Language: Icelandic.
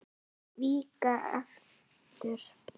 Víkka aftur.